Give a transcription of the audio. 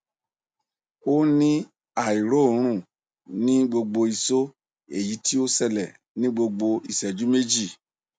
o ni airorun ni gbogbo iso eyi ti o sele ni gbogbo iseju meji